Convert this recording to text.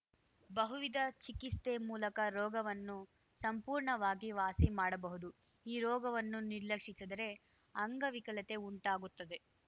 ಬಹುವಿಧ ಚಿಕಿಸ್ತೆ ಮೂಲಕ ರೋಗವನ್ನು ಸಂಪೂರ್ಣವಾಗಿ ವಾಸಿಮಾಡಬಹುದು ಈ ರೋಗವನ್ನು ನಿರ್ಲಕ್ಷಸಿದರೆ ಅಂಗವಿಕಲತೆ ಉಂಟಾಗುತ್ತದೆ